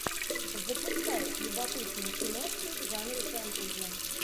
запускай любопытную киношку в жанре фэнтези